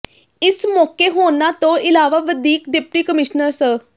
ਇਸ ਮੌਕੇ ਹੋਰਨਾਂ ਤੋਂ ਇਲਾਵਾ ਵਧੀਕ ਡਿਪਟੀ ਕਮਿਸ਼ਨਰ ਸ